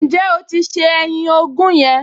Ǹjẹ́ o ti se ẹyin ogún yẹn?